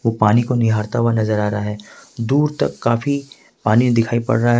वो पानी को निहारता हुआ नजर आ रहा है दूर तक काफी पानी दिखाई पड़ रहा है।